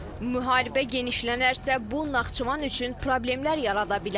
Müharibə genişlənərsə, bu Naxçıvan üçün problemlər yarada bilər.